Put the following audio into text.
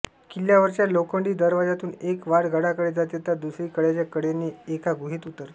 किल्ल्यावरच्या लोखंडी दरवाजातून एक वाट गडाकडे जाते तर दुसरी कड्याच्या कडेने एका गुहेत उतरते